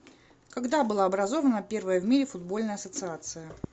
когда была образована первая в мире футбольная ассоциация